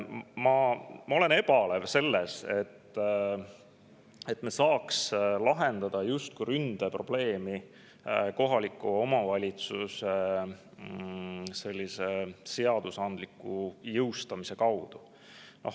Ma suhtun ebalevalt sellesse, et me saame ründeprobleemi lahendada kohaliku omavalitsuse jõustamise abil.